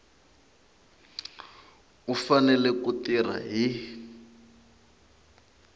u fanele ku tirha hi